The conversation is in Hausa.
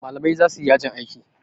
malamai za su yi yajin aiki